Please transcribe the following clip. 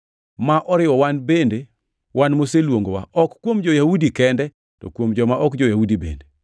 ma oriwo wan bende, wan moseluongowa, ok kuom jo-Yahudi kende, to kuom joma ok jo-Yahudi bende?